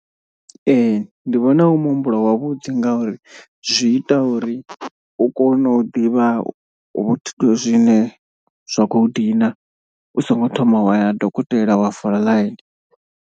Ee ndi vhona u muhumbulo wavhuḓi ngauri zwi ita uri u kone u ḓivha hu zwine zwa khou dina u songo thoma wa ya ha dokotela wa fola ḽaini.